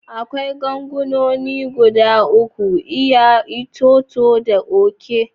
Akwai ganguna guda uku: iya, itoto, da oke.